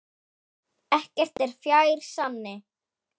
Ekkert er fjær sanni.